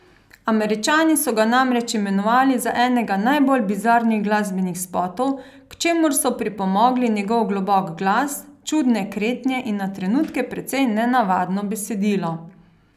Američani so ga namreč imenovali za enega najbolj bizarnih glasbenih spotov, k čemur so pripomogli njegov globok glas, čudne kretnje in na trenutke precej nenavadno besedilo.